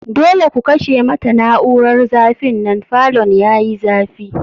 Dole ku kashe mata na'urar zafi nan, falon yayi zafi.